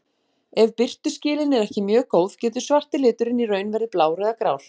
Ef birtuskilin eru ekki mjög góð getur svarti liturinn í raun verið blár eða grár.